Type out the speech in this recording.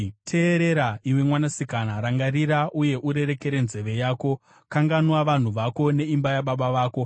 Teerera, iwe mwanasikana, rangarira, uye urereke nzeve yako: Kanganwa vanhu vako neimba yababa vako.